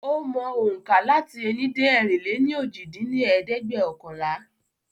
Ó mọ ohùnkà lati ení dé ẹ̀rin-lé-ní-ojì dín ní ẹ̀ẹ́dẹ́gbẹ́ọ̀kànlá.